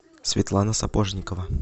светлана сапожникова